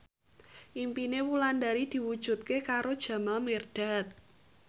impine Wulandari diwujudke karo Jamal Mirdad